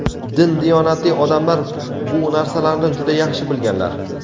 Din-diyonatli odamlar bu narsalarni juda yaxshi bilganlar.